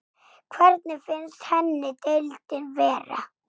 Hvernig finnst henni deildin vera?